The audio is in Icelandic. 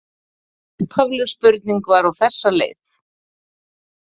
Upphafleg spurning var á þessa leið: